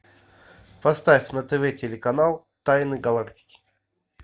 поставь на тв телеканал тайны галактики